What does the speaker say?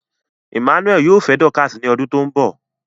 Emmanuel yoo fẹ Dorcas ni odun to nbo